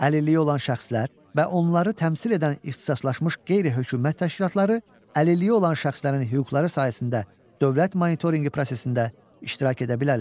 Əlilliyi olan şəxslər və onları təmsil edən ixtisaslaşmış qeyri-hökümət təşkilatları əlilliyi olan şəxslərin hüquqları sahəsində dövlət monitorinqi prosesində iştirak edə bilərlər.